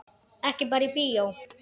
Ekki bara í bíó.